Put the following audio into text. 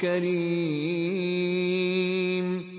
كَرِيمٍ